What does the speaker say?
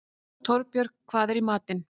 Torbjörg, hvað er í matinn?